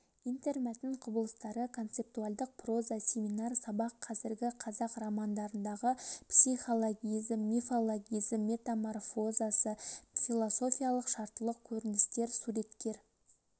интермәтін құбылыстары концептуальдық проза семинар сабақ қазіргі қазақ романдарындағы психологизм мифологизм метаморфозасы философиялық шарттылық көріністері суреткер